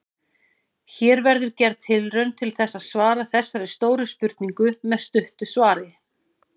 Hér verður gerð tilraun til þess að svara þessari stóru spurningu með stuttu svari.